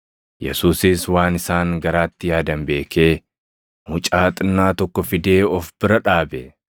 Yesuusis waan isaan garaatti yaadan beekee mucaa xinnaa tokko fidee of bira dhaabe;